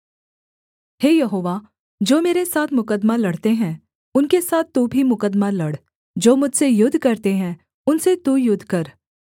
हे यहोवा जो मेरे साथ मुकद्दमा लड़ते हैं उनके साथ तू भी मुकद्दमा लड़ जो मुझसे युद्ध करते हैं उनसे तू युद्ध कर